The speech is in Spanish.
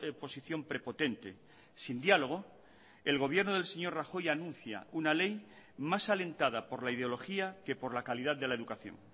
posición prepotente sin diálogo el gobierno del señor rajoy anuncia una ley más alentada por la ideología que por la calidad de la educación